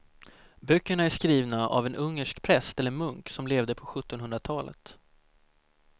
Böckerna är skrivna av en ungersk präst eller munk som levde på sjuttonhundratalet.